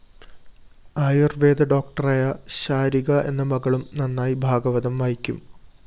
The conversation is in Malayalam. ആയൂര്‍വേദ ഡോക്ടറായ ശാരിക എന്ന മകളും നന്നായി ഭാഗവതം വായിക്കും